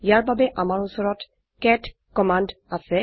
ইয়াৰ বাবে আমাৰ উচৰত কেট কম্মন্দ আছে